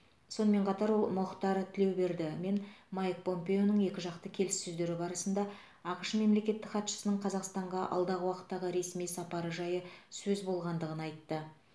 сонымен қатар ол мұхтар тілеуберді мен майк помпеоның екіжақты келіссөздері барысында ақш мемлекеттік хатшысының қазақстанға алдағы уақыттағы ресми сапары жайы сөз болғандығын айтты